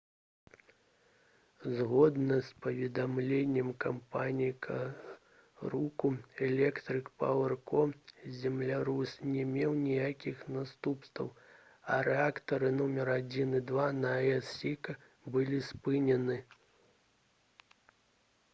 згодна з паведамленнем кампаніі «какурыку электрык пауэр ко» землятрус не меў ніякіх наступстваў а рэактары нумар 1 і 2 на аэс «сіка» былі спынены